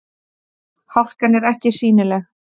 Hálkan er ekki sýnileg